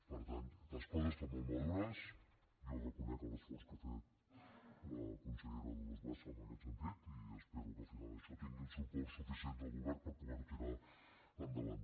per tant les coses estan molt madures jo reconec l’esforç que ha fet la consellera dolors bassa en aquest sentit i espero que al final això tingui els suports suficients del govern per poder ho tirar endavant